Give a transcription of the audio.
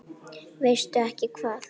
Veistu ekki hvað?